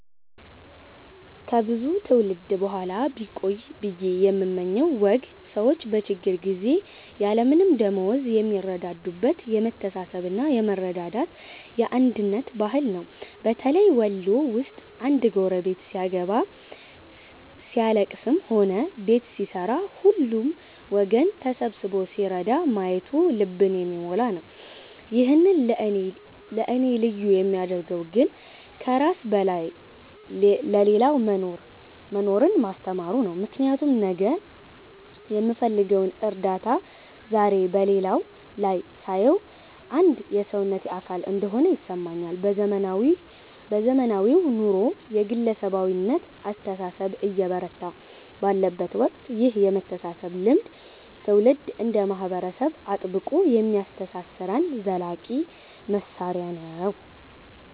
ከብዙ ትውልድ በኋላ ቢቆይ ብየ የምመኘው ወግ ሰዎች በችግር ጊዜ ያለምንም ደመወዝ የሚረዳዱበት የመተሳሰብና የመረዳዳት፣ የአንድነት ባህል ነው። በተለይ ወሎ ውስጥ አንድ ጎረቤት ሲያገባ፣ ሲያልለቅስም ሆነ ቤት ሲሠራ ሁሉም ወገን ተሰብስቦ ሲረዳ ማየቱ ልብን የሚሞላ ነው። ይህን ለእኔ ልዩ የሚያደርገው ግን ከራስ በላይ ለሌላው መኖርን ማስተማሩ ነው፤ ምክንያቱም ነገ የምፈልገውን እርዳታ ዛሬ በሌላው ላይ ሳየው አንድ የሰውነቴ አካል እንደሆነ ይሰማኛል። በዘመናዊው ኑሮ የግለሰባዊነት አስተሳሰብ እየበረታ ባለበት ወቅት ይህ የመተሳሰብ ልምድ ትውልድ እንደ ማህበረሰብ አጥብቆ የሚያስተሳስረን ዘላቂ ማሰሪያ ነው።